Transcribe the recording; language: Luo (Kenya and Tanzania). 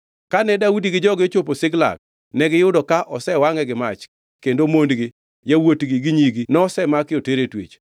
Kane Daudi gi joge ochopo Ziklag, negiyudo ka osewangʼe gi mach kendo mondgi, yawuotgi gi nyigi nosemaki oter e twech.